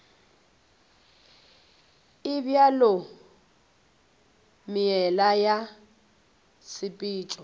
e bjalo meela ya tshepetšo